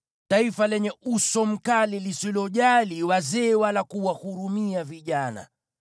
taifa lenye uso mkali lisilojali wazee wala kuwahurumia vijana.